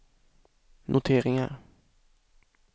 noteringar